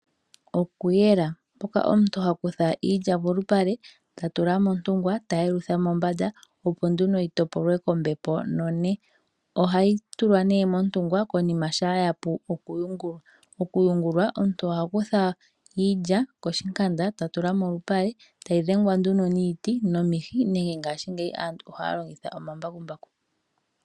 Okuyela, mpoka omuntu ha kutha iilya polupale ta tula montungwa, ta yelutha mombanda opo nduno yi topolwe kombepo none. Ohayi tulwa nee montungwa konima shampa yapu oku yungulwa. Okuyungulwa omuntu oha kutha iilya koshinkanda, ta tula molupale ta yi dhengwa nduno niiti, nomihi nenge ngaashingeyi aantu ohaya longitha omambakumbaku.